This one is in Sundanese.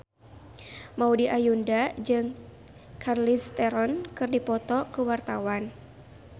Maudy Ayunda jeung Charlize Theron keur dipoto ku wartawan